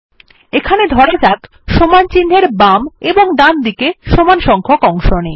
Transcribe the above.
এখানে ধরা যাক সমান চিন্হের বাম এবং ডানদিকে সমান সংখ্যক অংশ নেই